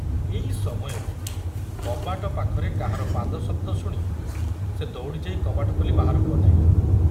ଏଇ ସମୟରେ କବାଟ ପାଖରେ କାହାର ପାଦଶବ୍ଦ ଶୁଣି ସେ ଦଉଡ଼ି ଯାଇ କବାଟ ଖୋଲି ବାହାରକୁ ଅନାଇଲା।